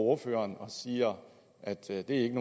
ordføreren og siger at det ikke